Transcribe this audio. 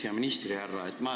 Hea ministrihärra!